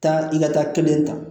Taa i ka taa kelen ta